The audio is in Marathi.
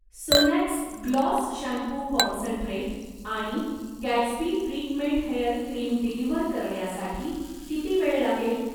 सोनॅक्स ग्लॉस शॅम्पू कॉन्सन्ट्रेट आणि Gatsby treatment hair cream deliver करण्यासाठी किती वेळ लागेल?